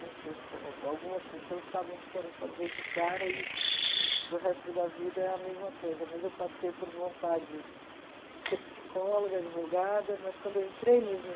Não sei se algumas pessoas sabem o que querem fazer de cara e para o resto da vida é a mesma coisa, mas eu passei por vontades de ser psicóloga, advogada, mas quando eu entrei mesmo